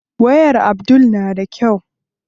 Wayar Abdul na da kyau sosai.